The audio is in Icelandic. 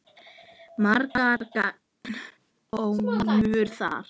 Margar kanónur þar.